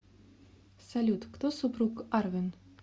салют кто супруг арвен